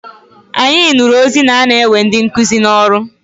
Anyị nụrụ ozi na-ana ewe ndị nkụzi n'ọrụ.